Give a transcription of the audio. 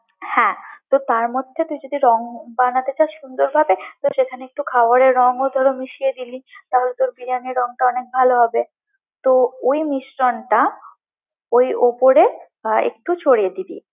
হ্যাঁ তো তারমধ্যে তুই যদি রং বানাতে চাস সুন্দরভাবে তো সেখানে একটু খাবারের রঙ্গও মিশিয়ে দিবি তাহলে তোর বিরিয়ানির রংটা অনেক ভালো হবে, তো ওই মিশ্রণটা ওই উপরে আহ একটু ছড়িয়ে দিবি।